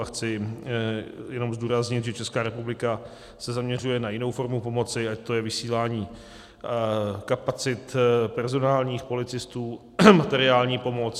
A chci jenom zdůraznit, že Česká republika se zaměřuje na jinou formu pomoci, ať to je vysílání kapacit personálních, policistů, materiální pomoc.